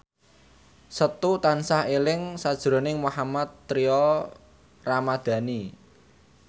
Setu tansah eling sakjroning Mohammad Tria Ramadhani